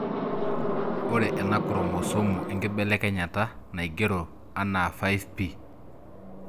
Ore ena kromosomu enkibelekenyata naigero ana 5p